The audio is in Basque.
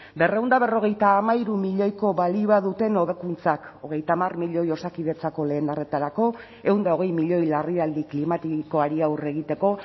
berrehun eta berrogeita hamairu milioiko balioa duten hobekuntzak hogeita hamar milioi osakidetzako lehen arretarako ehun eta hogei milioi larrialdi klimatikoari aurre egiteko